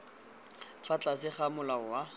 fa tlase ga molao wa